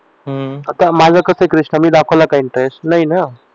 आता माझं कसं आहे कृष्णा मी दाखवलं का इंटरेस्ट नाही ना